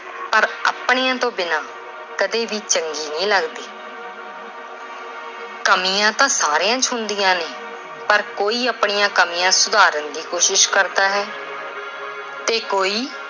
ਪਰ ਆਪਣਿਆਂ ਤੋਂ ਬਿਨਾਂ ਕਦੇ ਵੀ ਚੰਗੀ ਨਹੀਂ ਲੱਗਦੀ। ਕਮੀਆਂ ਤਾਂ ਸਾਰਿਆਂ ਚ ਹੁੰਦੀਆਂ ਨੇ ਪਰ ਕੋਈ ਆਪਣਿਆਂ ਕਮੀਆਂ ਸੁਧਾਰਨ ਦੀ ਕੋਸ਼ਿਸ਼ ਕਰਦਾ ਐ ਤੇ ਕੋਈ